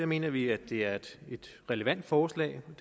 mener vi at det er et relevant forslag og